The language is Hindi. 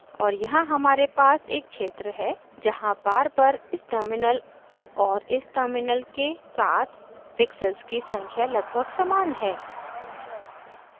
और यहाँ हमारे पास एक क्षेत्र है जहाँ bar पर इस terminal और इस terminal के साथ pixels की संख्या लगभग समान है